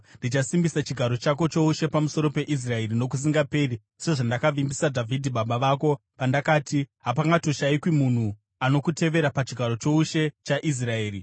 ndichasimbisa chigaro chako choushe pamusoro peIsraeri nokusingaperi sezvandakavimbisa Dhavhidhi baba vako pandakati, ‘Hapangashayikwi munhu anokutevera pachigaro choushe chaIsraeri.’